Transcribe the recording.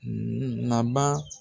Naba